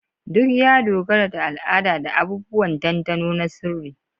Duk ya dogara da al'ada da abubuwan dandano na sirri.